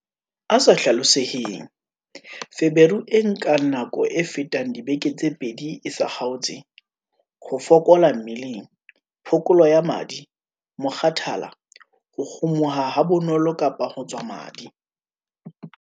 A sa hlaloseheng- Feberu e nkang nako e fetang dibeke tse pedi e sa kgaotse, ho fokola mmeleng, phokolo ya madi, mokgathala, ho kgumuha habonolo kapa ho tswa madi.